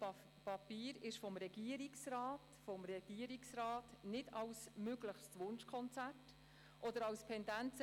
Ich gebe dem Sprecher der grünen Fraktion das Wort, Grossrat Haşim Sancar.